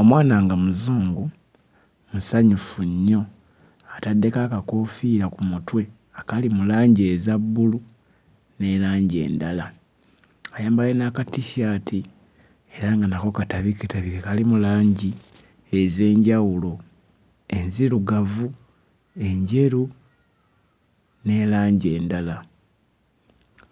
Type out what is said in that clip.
Omwana nga Muzungu, musanyufu nnyo. Ataddeko akakoofiira ku mutwe akali mu langi eza bbulu ne langi endala. Ayambadde n'akatissaati era nga nako katabiketabike, kalimu langi ez'enjawulo; enzirugavu, enjeru ne langi endala.